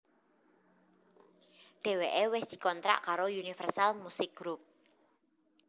Dheweké wis dikontrak karo Universal Musik Group